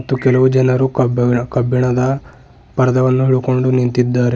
ಮತ್ತು ಕೆಲವು ಜನರು ಕಬ್ಬಿಣ ಕಬ್ಬಿಣದ ಪರಧವನ್ನು ಇಟ್ಟುಕೊಂಡು ನಿಂತಿದ್ದಾರೆ.